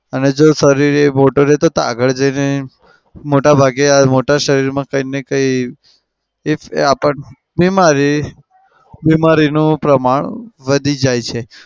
અને જે શરીરે આગળ જઈને મોટા ભાગે મોટા શરીરમાં કંઈક ના કંઈ બીમારી બીમારીનું પ્રમાણ વધી જાય છે.